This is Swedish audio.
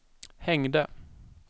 hängde